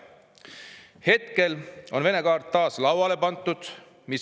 Hetkel on Vene kaart taas lauale pandud.